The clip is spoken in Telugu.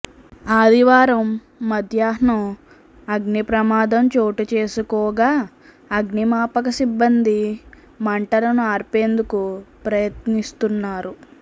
ఆదివారం మధ్యాహ్నం అగ్నిప్రమాదం చోటుచేసుకోగా అగ్నిమాపక సిబ్బంది మంటలను ఆర్పేందుకు ప్రయత్నిస్తున్నారు